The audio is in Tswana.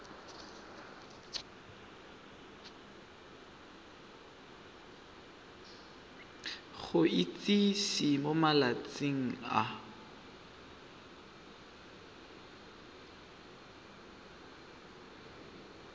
go itsise mo malatsing a